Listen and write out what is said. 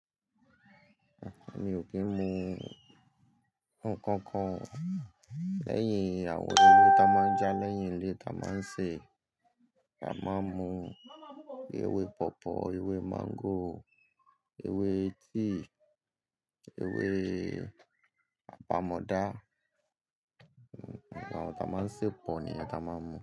Mi ò kí ń mu nǹkan kan. Lẹ́yìn àwọn ewé ta máa ń já, lẹ́yìn ilé ta máa ń sè, a máa ń mu ewé pọ̀pọ́, ewé máńgò, ewé tíì, ewé apamọ́ dá. Awọn ta máa ń sè pọ̀ ni a ta máa ń mu.